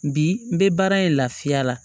Bi n bɛ baara in lafiya la